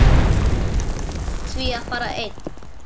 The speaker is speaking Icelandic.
Ég ákvað því að fara einn.